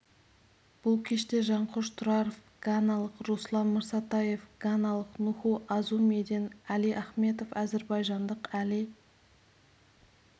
бұл кеште жанқош тұраров ганалық руслан мырсатаев ганалық нуху азумиден әли ахметов әзербайжандық әли